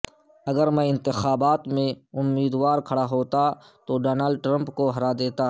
اگر میں انتخابات میں امیدوار کھڑا ہوتا تو ڈونلڈ ٹرمپ کو ہرا دیتا